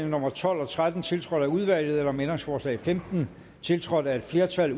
nummer tolv og tretten tiltrådt af udvalget eller om ændringsforslag nummer femten tiltrådt af et flertal